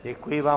Děkuji vám.